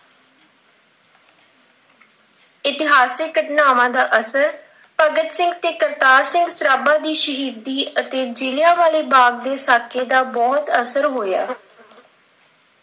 ਇਤਹਾਸਿਕ ਘਟਨਾਵਾਂ ਦਾ ਅਸਰ, ਭਗਤ ਸਿੰਘ ਤੇ ਕਰਤਾਰ ਸਿੰਘ ਸਰਾਭਾ ਦੀ ਸ਼ਹੀਦੀ ਅਤੇ ਜ਼ਿਲ੍ਹਿਆਂ ਵਾਲੇ ਬਾਗ ਦੇ ਸਾਕੇ ਦਾ ਬਹੁਤ ਅਸਰ ਹੋਇਆ।